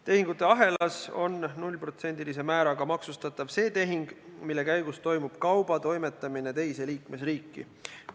Tehingute ahelas on 0%-lise määraga maksustatav see tehing, mille käigus toimub kauba toimetamine teise liikmesriiki.